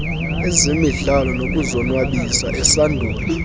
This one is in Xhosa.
ezemidlalo nokuzonwabisa esandula